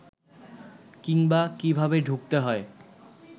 কিংবা কীভাবে ঢুকতে হয়